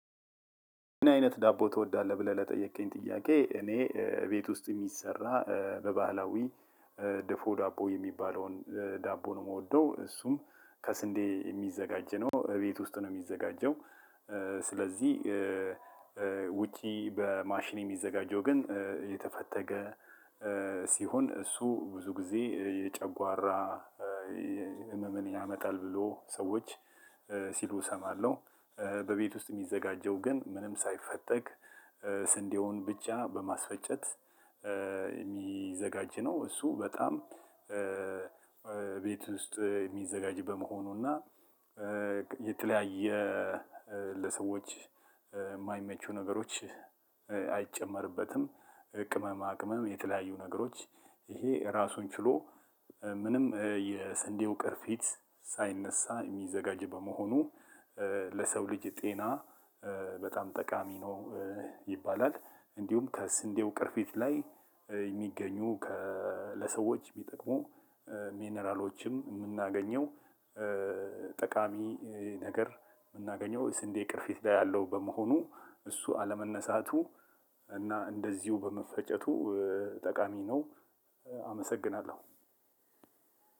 ምን አይነት ዳቦ ትወዳለህ? ብለህ ለጠየቅከኝ ጥያቄ እኔ ቤት ውስጥ የሚሰራ በባህላዊ ድፎ ዳቦ የሚባለውን ዳቦ ነው የምወደው። እሱም ከስንዴ የሚዘጋጀው ነው። እቤት ውስጥ ነው የሚዘጋጀው። ስለዚህ ውጪ በማሽን የሚዘጋጀው ግን የተፈተገ ሲሆን እሱ ብዙ ጊዜ የጨጓራ ህመምን ያመጣል ብሎ ሰዎች ሲሉ እሰማለሁ። በቤት ውስጥ የሚዘጋጀው ግን ምንም ሳይፈተግ ስንዴውን ብቻ በማስፈጨት የሚዘጋጅ ነው። እሱ በጣም ቤት ውስጥ የሚዘጋጅ በመሆኑ እና የተለያየ ለሰዎች ማይመቹ ነገሮች አይጨመርበትም። ቅመማ ቅመም የተለያዩ ነገሮች ይሄ ራሱን ችሎ ምንም የስንዴው ቅርፊት ሳይነሳ የሚዘጋጅ በመሆኑ ለሰው ልጅ ጤና በጣም ጠቃሚ ነው ይባላል። እንዲሁም ከስንዴው ቅርፊት ላይ የሚገኙ ለሰዎች ሚጠቅሙ ሚነራሎችም የምናገኘው ጠቃሚ ነገር የምናገኘው ስንዴ ቅርፊት ላይ ያለው በመሆኑ እሱ አለመነሳቱ እና እንደዚሁ በመፈጨቱ ጠቃሚ ነው። አመሰግናለሁ።